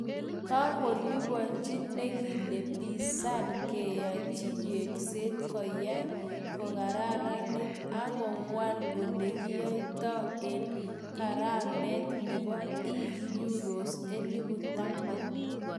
Kakoliponchi nekile Bi Sadd keyachi yengset koyai kokararanit ako waal olekikiyaita en karamet nebo E uros elipu taman